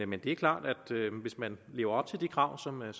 men det er klart at hvis man lever op til de krav som er